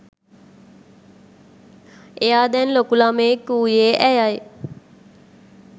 එයා දැන් ලොකු ළමයෙක් වූයේ ඇයයි.